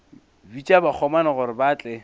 bitša bakgomana gore ba tle